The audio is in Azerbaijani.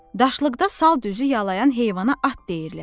Daşlıqda sal düzü yalayan heyvana at deyirlər.